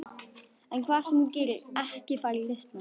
En hvað sem þú gerir, ekki fara í listnám.